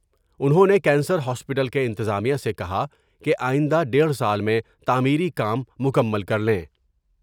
انہوں نے cancer hospital کے انتظامیہ سے کہا کہ آئند ہ دیڑھ سال میں تعمیری کام مکمل کر لیں ۔